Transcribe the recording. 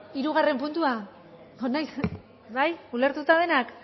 hirugarren puntua bai ulertuta denok